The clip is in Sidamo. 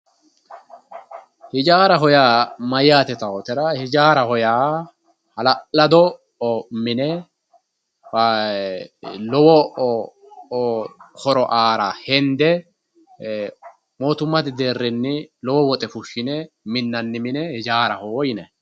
ijaaraho yaa mayyaate yitaatera ijaaraho yaa hala'lado mine lowo horo aara hende mootummate deerrinni lowo woxe fushshine minnanni mine ijaaraho yinanni.